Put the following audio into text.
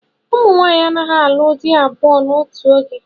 Ụmụ nwaanyị anaghị alụ di abụọ n'otù oge.